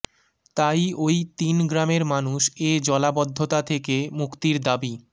তাই ওই তিন গ্রামের মানুষ এ জলাবদ্ধতা থেকে মুক্তির দাবি